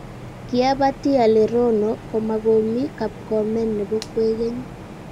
kiabatii ale rono komakomii kapkomen nebo kwekeny.